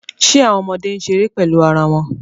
Ṣe awọn ọmọde n ṣere pẹlu ara wọn